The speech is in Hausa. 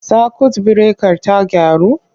Sakwut birekar ta gyaru?